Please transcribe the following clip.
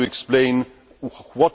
How would you explain this?